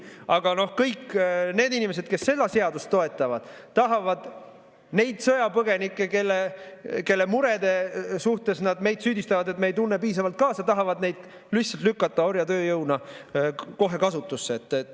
Aga kõik need inimesed, kes seda seadust toetavad, tahavad neid sõjapõgenikke, kelle murede eest nad meid süüdistavad, et me ei tunne piisavalt kaasa, lihtsalt lükata orjatööjõuna kohe kasutusse.